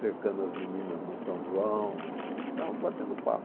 cercando as meninas na São João, ficava batendo papo.